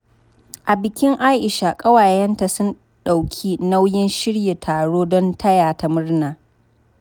A bikin Aisha, kawayenta sun ɗauki nauyin shirya taro don taya ta murna.